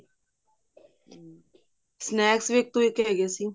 snacks ਵੀ ਇੱਕੋ ਇੱਕ ਹੋਗੇ ਸੀ